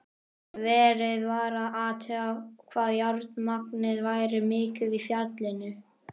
Verið var að athuga hvað járnmagnið væri mikið í fjallinu.